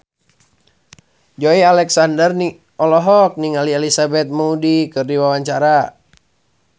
Joey Alexander olohok ningali Elizabeth Moody keur diwawancara